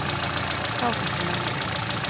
Þá fékk ég nóg.